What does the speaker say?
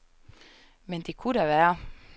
Men det ku´ da være.